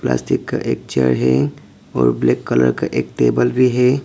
Plastic का एक chair है और ब्लैक कलर का एक टेबल भी है।